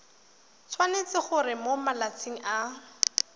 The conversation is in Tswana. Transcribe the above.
tshwanetse gore mo malatsing a